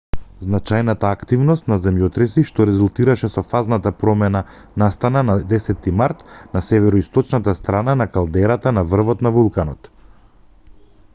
значајната активност на земјотреси што резултираше со фазната промена настана на 10-ти март на североисточната страна од калдерата на врвот на вулканот